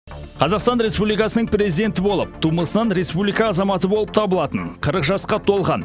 қазақстан республикасының президенті болып тумысынан республика азаматы болып табылатын қырық жасқа толған